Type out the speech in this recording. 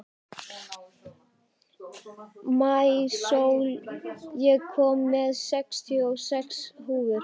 Maísól, ég kom með sextíu og sex húfur!